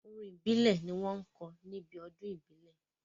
Orin ìbílẹ̀ ni wọ́n ń kọ níbi ọdún ìbílẹ̀.